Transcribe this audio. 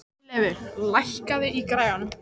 Hjörleifur, lækkaðu í græjunum.